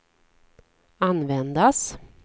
användas